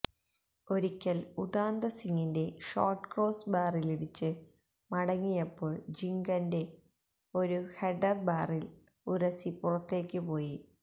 ഒരിക്കൽ ഉദാന്ത സിങ്ങിന്റെ ഷോട്ട് ക്രോസ് ബാറിലിടിച്ച് മടങ്ങിയപ്പോൾ ജിംഗന്റെ ഒരു ഹെഡ്ഡർ ബാറിൽ ഉരസി പുറത്തേയ്ക്ക് പോയി